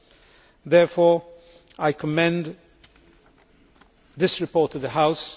I therefore commend this report to the House.